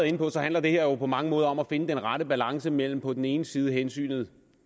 inde på handler det her jo på mange måder om at finde den rette balance mellem på den ene side hensynet